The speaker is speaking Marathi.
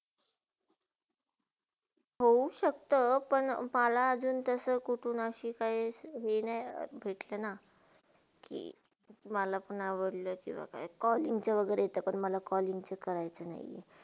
हो शक्ता, पण माला अजुन तसे कुठुन आशी काय हे नाय भेटलेना कि मलापण आवडले किवा काय कॉलिंगच्या वागेरे पण येते म पण कॉलिंगचे करायचे नाय,